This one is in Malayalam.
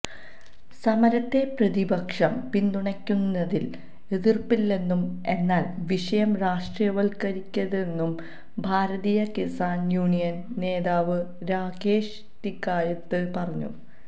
സമരത്തെ പ്രതിപക്ഷം പിന്തുണയ്ക്കുന്നതില് എതിര്പ്പില്ലെന്നും എന്നാല് വിഷയം രാഷ്ട്രീയവല്ക്കരിക്കരുതെന്നും ഭാരതീയ കിസാന് യൂണിയന് നേതാവ് രാകേഷ് ടിക്കായത്ത് പറഞ്ഞു